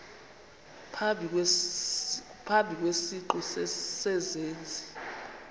phambi kwesiqu sezenzi